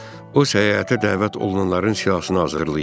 O səyahətə dəvət olunanların siyahısını hazırlayırdı.